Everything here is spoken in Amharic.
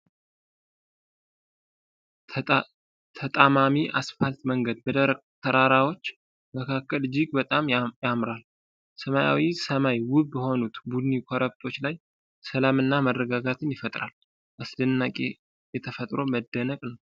ተጣማሚ አስፋልት መንገድ በደረቅ ተራራዎች መካከል እጅግ በጣም ያማራል። ሰማያዊው ሰማይ ውብ በሆኑት ቡኒ ኮረብቶች ላይ ሰላምንና መረጋጋትን ይፈጥራል። አስደናቂ የተፈጥሮ መደነቅ ነው።